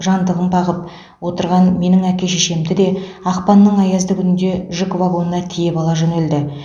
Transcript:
жантығын бағып отырған менің әке шешемді де ақпанның аязды күнінде жүк вагонына тиеп ала жөнелді